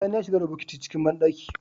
Sani ya shiga da bokiti ciki banɗaki